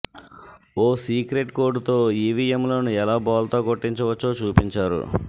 ఓ secret కోడ్తో ఈవీఎంలను ఎలా బోల్తా కొట్టించవచ్చో చూపించారు